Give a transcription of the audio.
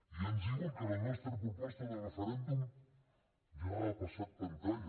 i ens diuen que la nostra proposta de referèndum ja ha passat pantalla